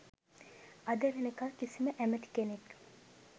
අද වෙනකල් කිසිම ඇමැති කෙනෙක්